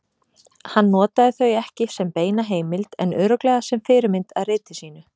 Hann notaði þau ekki sem beina heimild en örugglega sem fyrirmynd að riti sínu.